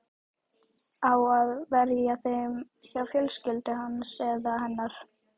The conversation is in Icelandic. Á að verja þeim hjá fjölskyldu hans eða hennar?